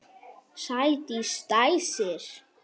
Sædís dæsir.